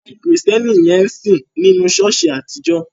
Àwọn Kristẹni yẹn ń sìn nínu ṣọ̀ọ́sì àtijọ́.